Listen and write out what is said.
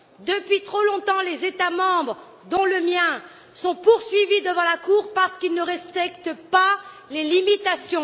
Depuis trop longtemps les États membres, dont le mien, sont poursuivis devant la Cour parce qu'ils ne respectent pas les limitations.